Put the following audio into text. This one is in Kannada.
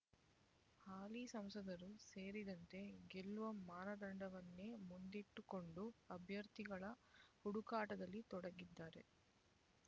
ಹಾಲಿ ಸಂಸದರೂ ಸೇರಿದಂತೆ ಗೆಲ್ಲುವ ಮಾನದಂಡವನ್ನೇ ಮುಂದಿಟ್ಟುಕೊಂಡು ಅಭ್ಯರ್ಥಿಗಳ ಹುಡುಕಾಟದಲ್ಲಿ ತೊಡಗಿದ್ದಾರೆ